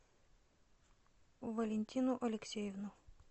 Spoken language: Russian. валентину алексеевну